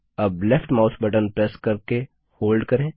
अब left mouse button press करके hold करें